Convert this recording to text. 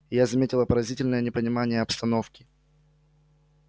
я заметила поразительное непонимание обстановки